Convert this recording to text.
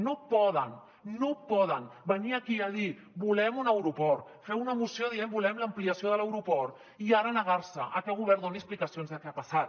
no poden no poden venir aquí a dir volem un aeroport fer una moció dient volem l’ampliació de l’aeroport i ara negar se a que el govern doni explicacions de què ha passat